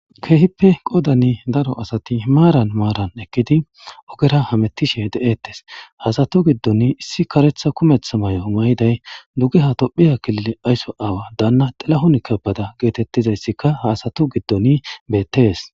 Kehippe qodanni daro asati maranni maranni eqqidi ogera hamuttishshe de'eetes.haa asati giddonni issi kareththa kumeththa mayo mayidayi dugeha tophpykilile ayiso awa Dana tsilawun kebede de'izayissa be'etees.